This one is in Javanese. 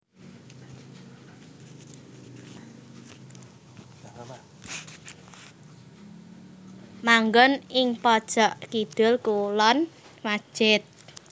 Manggon ing pojok kidul kulon masjid